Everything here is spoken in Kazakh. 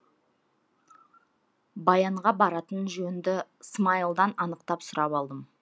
баянға баратын жөнді смайылдан анықтап сұрап алдым